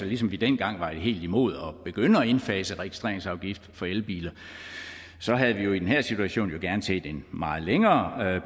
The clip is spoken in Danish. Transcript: ligesom vi dengang var helt imod at begynde at indfase registreringsafgift for elbiler havde vi jo i den her situation gerne set en meget længere